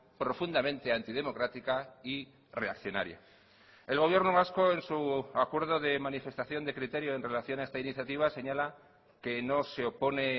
profundamente antidemocrática y reaccionaria el gobierno vasco en su acuerdo de manifestación de criterio en relación a esta iniciativa señala que no se opone